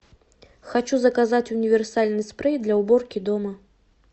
хочу заказать универсальный спрей для уборки дома